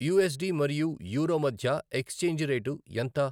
USD మరియు euro మధ్య exchange rate ఎంత